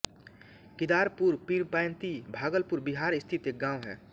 किदारपुर पीरपैंती भागलपुर बिहार स्थित एक गाँव है